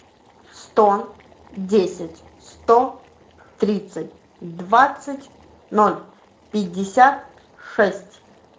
сто десять сто тридцать двадцать ноль пятьдесят шесть